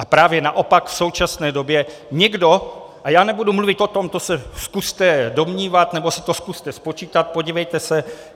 A právě naopak v současné době někdo - a já nebudu mluvit o tom, to se zkuste domnívat, nebo si to zkuste spočítat, podívejte se.